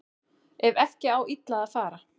Ef ekki á illa að fara